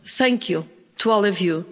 Thank you to all of you.